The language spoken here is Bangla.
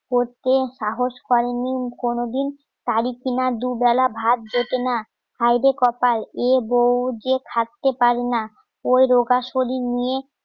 করতে সাহস করেনি কোনোদিন গাড়ি কিনা দুবেলা ভাত জোটে না হায়রে কপাল এ বউ যে খাটতে পারে না ওই রোগা শরীর নিয়ে